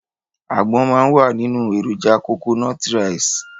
Àgbọn máa wà nínú èròjà kokonọ́tí raìsì.